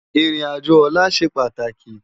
Irin ájó òlà sé pátáki